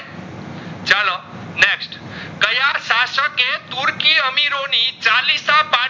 ને તુર્કી અમીરો ની જાલિસાબાયથ